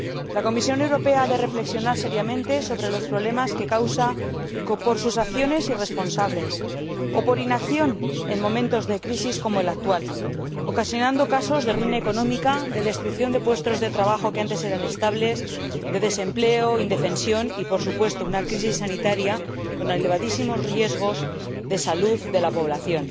La Comisión Europea ha de reflexionar seriamente sobre los problemas que causa por sus acciones irresponsables o por inacción en momentos de crisis como el actual, ocasionando casos de ruina económica, de destrucción de puestos de trabajo que antes eran estables, de desempleo, de indefensión y, por supuesto, una crisis sanitaria con elevadísimos riesgos para la salud de la población,